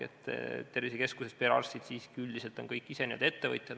Tervisekeskuses perearstid on siiski üldiselt ise kõik ettevõtjad.